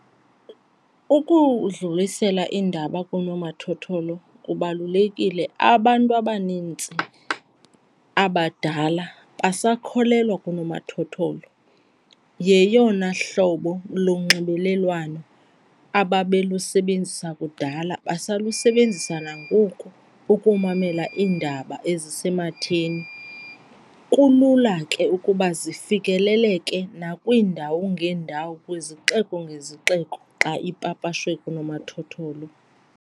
Ukudlulisela iindaba koonomathotholo kubalulekile. Abantu abanintsi abadala basakholelwa kunomathotholo. Yeyona hlobo lunxibelelwano ababelusebenzisa kudala, basalusebenzisa nangoku ukumamela iindaba ezisematheni. Kulula ke ukuba zifikeleleke nakwiindawo ngeendawo kwezixeko ngezixeko xa ipapashwe kunomathotholo.